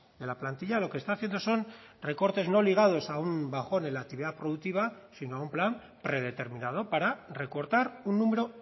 de la plantilla lo que está haciendo son recortes no ligados a un bajón en la actividad productiva sino un plan predeterminado para recortar un número